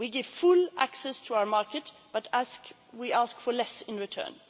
this policy. We give full access to our market, but we ask for less